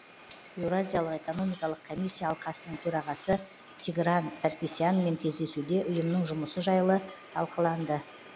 еуразиялық экономикалық комиссия алқасының төрағасы тигран саркисянмен кездесуде ұйымның жұмысы жайлы талқыланды